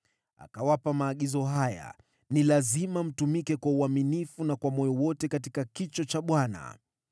Akawapa maagizo haya: “Ni lazima mtumike kwa uaminifu na kwa moyo wote katika kicho cha Bwana .